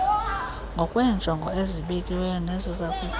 ngokweenjongo ezibekiweyo nezizakuthi